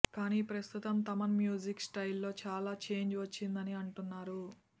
కానీ ప్రస్తుతం Thaman music style లో చాలా చేంజ్ వచ్చిందని అంటున్నారు